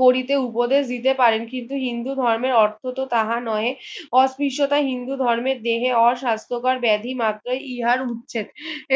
গড়িতে উপদেশ দিতে পারেন কিন্তু হিন্দু ধর্মের অর্থ তো তাহা নয় অত্রিষ্টতা হিন্দু ধর্মের দেহে অস্বাস্থকর ব্যাধি মাত্রই ইহার উচ্ছেদ